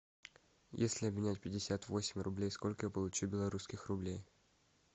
если обменять пятьдесят восемь рублей сколько я получу белорусских рублей